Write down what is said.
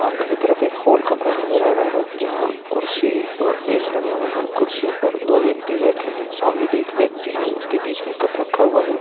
सामने की तरफ एक होल कमरा नज़र आ रहा है जहाँ कुर्सी और मेज लगे हुए हैं। कुर्सियों पर दो व्यक्ति बैठे है। सामने भी एक व्यक्ति है जिसके बीच में एक कप रखा हुआ है।